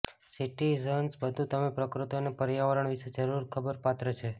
citizens બધું તમે પ્રકૃતિ અને પર્યાવરણ વિશે જરૂર ખબર પાત્ર છે